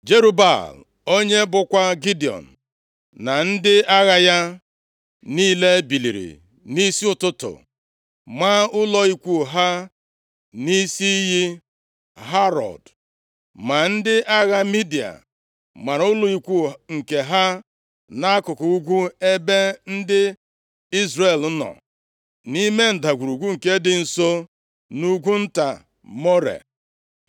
Jerub-Baal, onye bụkwa Gidiọn, na ndị agha ya niile biliri nʼisi ụtụtụ, maa ụlọ ikwu ha nʼisi iyi Harod. Ma ndị agha Midia mara ụlọ ikwu nke ha nʼakụkụ ugwu ebe ndị Izrel nọ, nʼime ndagwurugwu nke dị nso nʼugwu nta More.